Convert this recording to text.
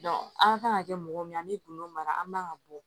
an kan ka kɛ mɔgɔ min an mi don mara an man ga bɔ